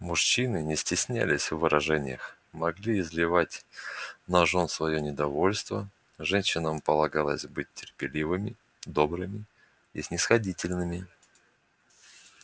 мужчины не стеснялись в выражениях могли изливать на жён своё недовольство женщинам полагалось быть терпеливыми добрыми и снисходительными